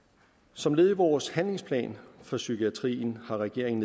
som led i vores handlingsplan for psykiatrien har regeringen